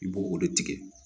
I b'o o de tigɛ